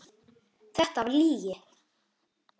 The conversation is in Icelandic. Þetta er lygi!